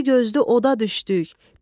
Diri gözlü oda düşdük.